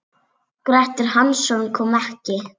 Grettir Hansson kom ekki.